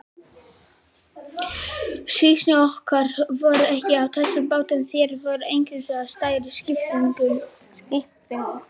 Stýrimenn og kokkar voru ekki á þessum bátum, þeir voru einungis á stærri skipunum.